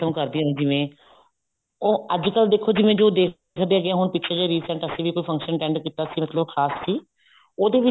ਰਸਮ ਕਰਦੀਆਂ ਨੇ ਜਿਵੇਂ ਉਹ ਅੱਜਕਲ ਦੇਖੋ ਜਿਵੇਂ ਜੋ ਦੇਖਦੇ ਹਾਂ ਹੁਣ ਪਿਛੇ ਜੇ ਹੁਣ recent ਅਸੀਂ ਵੀ ਕੋਈ function attend ਕੀਤਾ ਸਿਰਫ ਜੋ ਖਾਸ ਸੀ ਉਹਦੇ ਵਿੱਚ